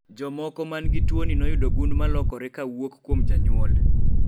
jomoko man gi tuoni noyudo gund molokore kawuok kuom janyuol